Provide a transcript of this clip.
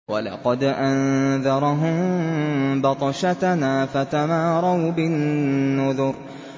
وَلَقَدْ أَنذَرَهُم بَطْشَتَنَا فَتَمَارَوْا بِالنُّذُرِ